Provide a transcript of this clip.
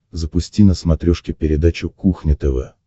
запусти на смотрешке передачу кухня тв